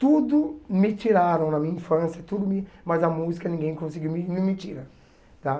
Tudo me tiraram na minha infância, tudo me mas a música ninguém conseguiu me me me tirar tá.